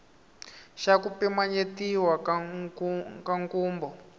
xa ku pimanyetiwa ka nkhumbo